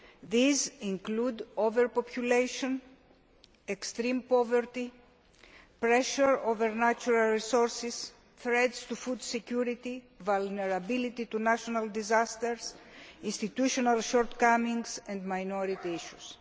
These include overpopulation, extreme poverty, pressure on natural resources, threats to food security, vulnerability to natural disasters, institutional shortcomings and minority issues.